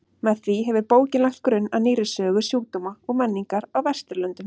Með því hefur bókin lagt grunn að nýrri sögu sjúkdóma og menningar á Vesturlöndum.